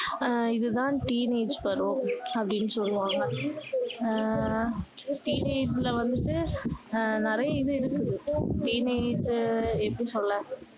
அஹ் இது தான் teenage பருவம் அப்படின்னு சொல்லுவாங்க ஆஹ் teenage ல வந்து அஹ் நிறைய இது இருக்கு teenage எப்படி சொல்ல